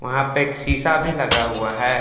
वहां पे एक शीशा भी लगा हुआ है।